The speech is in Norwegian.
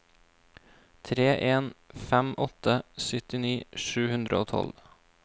tre en fem åtte syttini sju hundre og tolv